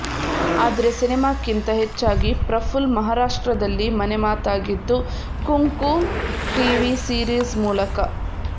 ಆದ್ರೆ ಸಿನೆಮಾಕ್ಕಿಂತ ಹೆಚ್ಚಾಗಿ ಪ್ರಫುಲ್ ಮಹಾರಾಷ್ಟ್ರದಲ್ಲಿ ಮನೆಮಾತಾಗಿದ್ದು ಕುಂಕು ಟಿವಿ ಸಿರೀಸ್ ಮೂಲಕ